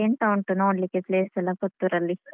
ಅಲ್ಲೀ ಎಂತ ಉಂಟು ನೋಡ್ಲಿಕ್ಕೆ place ಎಲ್ಲ ಪುತ್ತೂರಲ್ಲಿ?